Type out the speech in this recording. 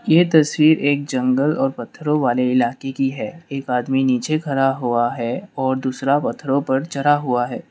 ये तस्वीर एक जंगल और पत्थरों वाले इलाके की है एक आदमी नीचे खड़ा हुआ है और दूसरा पत्थरों पर चढ़ा हुआ है।